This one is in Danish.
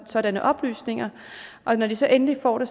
sådanne oplysninger og når de så endelig får